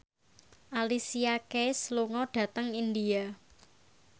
Alicia Keys lunga dhateng India